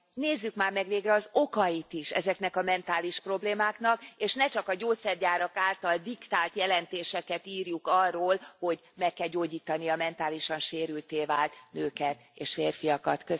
Nézzük már meg végre az okait is ezeknek a mentális problémáknak, és ne csak a gyógyszergyárak által diktált jelentéseket írjuk arról, hogy meg kell gyógyítani a mentálisan sérültté vált nőket és férfiakat.